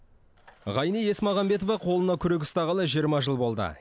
ғайни есмағамбетова қолына күрек ұстағалы жиырма жыл болды